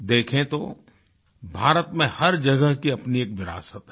देखें तो भारत में हर जगह की अपनी एक विरासत है